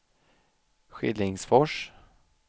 Skillingsfors